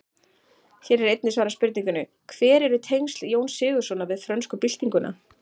Hér er einnig svarað spurningunni: Hver eru tengsl Jóns Sigurðssonar við frönsku byltinguna?